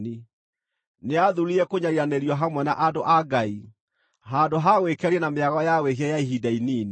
Nĩathuurire kũnyariiranĩrio hamwe na andũ a Ngai, handũ ha gwĩkenia na mĩago ya wĩhia ya ihinda inini.